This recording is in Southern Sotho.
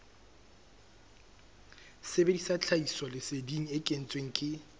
sebedisa tlhahisoleseding e kentsweng ke